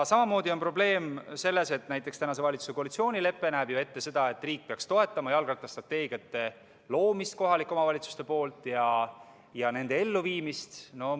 Samamoodi on probleem selles, et näiteks praeguse valitsuse koalitsioonilepe näeb ju ette, et riik peaks toetama kohalike omavalitsuste jalgrattastrateegiate loomist ja nende elluviimist.